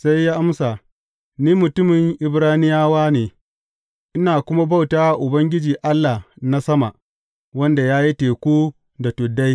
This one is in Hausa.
Sai ya amsa, Ni mutumin Ibraniyawa ne, ina kuma bauta wa Ubangiji Allah na sama, wanda ya yi teku da tuddai.